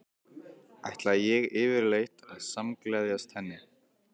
Ætlaði ég yfirleitt að samgleðjast henni?